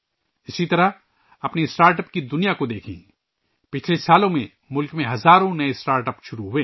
اسی طرح startup کو دیکھ لیں، پچھلے سالوں میں ملک میں ہزاروں نئے اسٹارٹ اپس شروع ہوئے